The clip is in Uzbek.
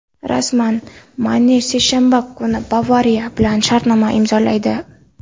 Rasman: Mane seshanba kuni "Bavariya" bilan shartnoma imzolaydi;.